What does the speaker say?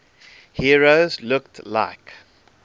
heroes looked like